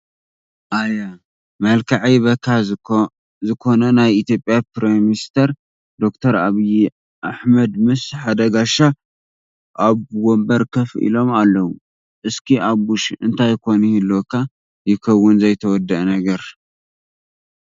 ኣየ! መልከዐይ በካ ዝኮና ናይ ኢትዮጰያ ፕሪሚኒስተር ደ/ር ኣብይ ኣሕበድ ምስ ሓደ ጋሻ ኣብ ወንቦር ኮፍ ኢሎም ኣለው። እስኪ ኣቡሽ እንታይ ኮን ይህልወካ ይከውን ዘይተወደኣ ነገር።